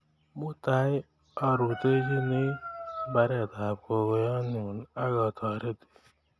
Mutai arutoshini mbaret ap gugoyenyu ak atoreti.